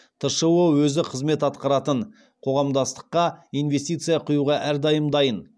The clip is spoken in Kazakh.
тшо өзі қызмет атқаратын қоғамдастыққа инвестиция құюға әрдайым дайын